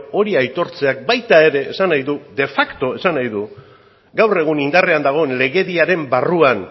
hori aitortzeak baita ere esan nahi du de facto esan nahi du gaur egun indarrean dagoen legediaren barruan